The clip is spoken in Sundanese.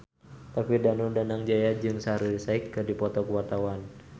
David Danu Danangjaya jeung Shaheer Sheikh keur dipoto ku wartawan